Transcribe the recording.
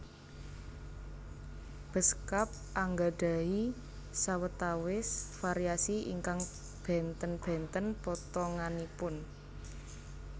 Beskap anggadhahi sawetawis variasi ingkang bènten bènten potonganipun